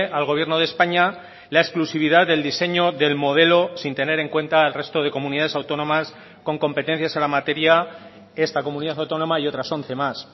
al gobierno de españa la exclusividad del diseño del modelo sin tener en cuenta el resto de comunidades autónomas con competencias en la materia esta comunidad autónoma y otras once más